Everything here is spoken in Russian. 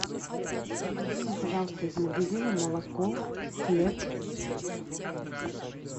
привези мне пожалуйста из магазина молоко хлеб